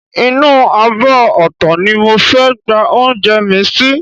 Inú abọ́ ọ̀tọ̀ ni mo fẹ́ gba oúnjẹ mi sí